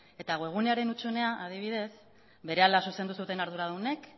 eta webgunearen hutsunea adibidez berehala zuzendu zuten arduradunek